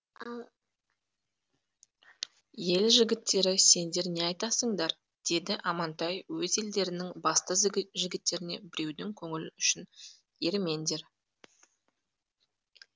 ел жігіттері сендер не айтасыңдар деді амантай өз елдерінің басты жігіттеріне біреудің көңілі үшін ерімеңдер